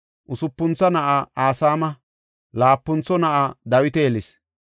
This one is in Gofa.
usupuntho na7aa Asama, laapuntho na7aa Dawita yelis.